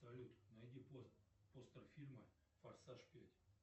салют найди постер фильма форсаж пять